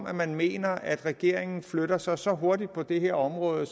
at man mener at regeringen flytter sig så hurtigt på det her område